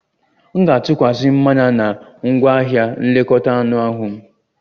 M ga-atụkwasi mmanya na ngwaahịa nlekọta anụ ahụ m